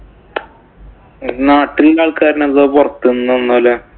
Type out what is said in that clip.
നാട്ടീന്നു ആള്‍ക്കാരാണോ, അതോ പൊറത്ത് നിന്ന്